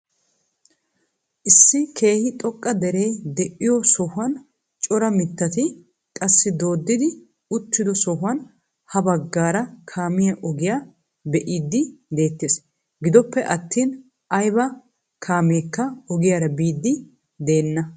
Issi keehi xoqqa dere de'iyoo sohuwaan cora mittati qassi dooddi uttido sohuwaan ha baggaara kaamiyaa ogiyaa be'idi de'ettees. gidoppe attin ayba kameekka ogiyaara biidi de'enna.